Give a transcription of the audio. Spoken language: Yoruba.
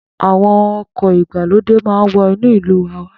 Àwọn ọkọ̀ ìgbàlódé maa wọ inú ìlú wa wá.